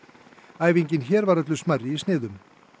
æfingin hér var öllu smærri í sniðum